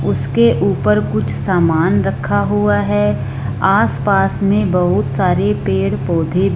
उसके ऊपर कुछ सामान रखा हुआ है आस पास में बहुत सारे पेड़ पौधे--